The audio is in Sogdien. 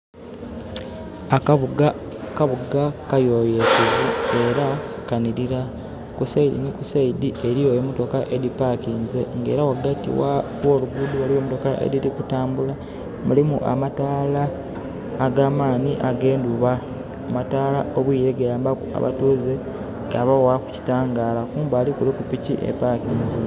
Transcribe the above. Akabuga, akabuga kayoyotevu era kanhirira. Ku saidi ni kusaidi eriyo emotoka edipakinze era wagati woluguudo waliyo emotoka ediri kutambula. Mulimu amatala agamaani age nduuba. Amataala obwire gayambaku abatuze gabawaku ekitangala. Kumbali kuliku piki eparkinze